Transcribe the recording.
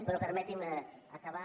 però permeti’m acabar